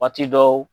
Waati dɔw